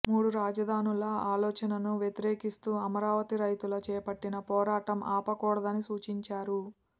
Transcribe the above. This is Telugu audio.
మూడు రాజధానుల ఆలోచనను వ్యతిరేకిస్తూ అమరావతి రైతులు చేపట్టిన పోరాటం ఆపకూడదని సూచించారు